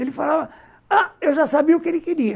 Ele falava... Ah, eu já sabia o que ele queria.